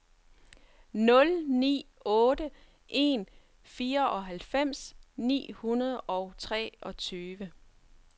nul ni otte en fireoghalvfems ni hundrede og treogtyve